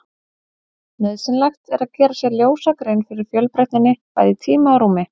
Nauðsynlegt er að gera sér ljósa grein fyrir fjölbreytninni, bæði í tíma og rúmi.